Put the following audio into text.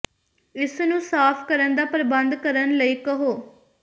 ਇਸ ਨੂੰ ਸਾਫ਼ ਕਰਨ ਦਾ ਪ੍ਰਬੰਧ ਕਰਨ ਲਈ ਕਹੋ